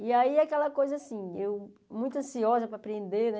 E aí, aquela coisa assim, eu muito ansiosa para aprender, né?